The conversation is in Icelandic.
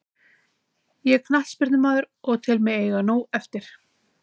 Ég er knattspyrnumaður og tel mig eiga nóg eftir.